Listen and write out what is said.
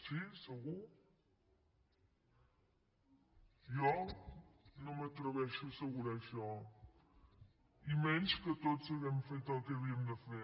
sí segur jo no m’atreveixo a assegurar això i menys que tots hàgim fet el que havíem de fer